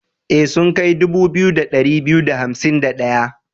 E, sun kai dubu biyu da ɗari biyu da hansim da ɗayan.